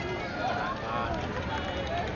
lambani